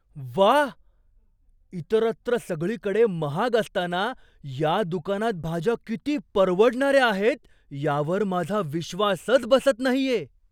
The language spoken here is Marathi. व्वा, इतरत्र सगळीकडे महाग असताना या दुकानात भाज्या किती परवडणाऱ्या आहेत यावर माझा विश्वासच बसत नाहीये!